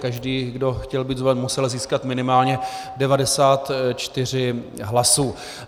Každý, kdo chtěl být zvolen, musel získat minimálně 94 hlasů.